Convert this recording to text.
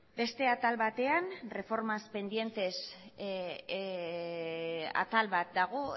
beste atal batean reformas pendientes atal bat dago